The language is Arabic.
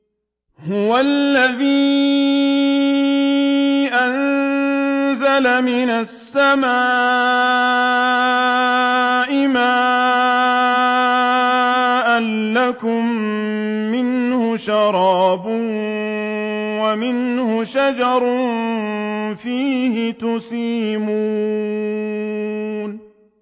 هُوَ الَّذِي أَنزَلَ مِنَ السَّمَاءِ مَاءً ۖ لَّكُم مِّنْهُ شَرَابٌ وَمِنْهُ شَجَرٌ فِيهِ تُسِيمُونَ